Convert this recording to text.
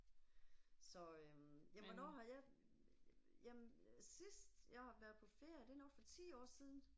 Så øh, jamen hvornår har jeg, jamen sidst jeg har været på ferie det er nok for 10 år siden